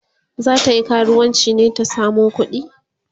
zatayi karuwanci ne ta samo kuɗi?